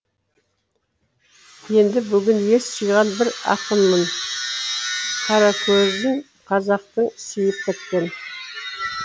енді бүгін ес жиған бір ақынмын қаракөзін қазақтың сүйіп өткен